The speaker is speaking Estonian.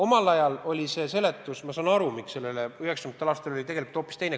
Ma saan aru, miks 1990. aastatel oli olukord hoopis teine.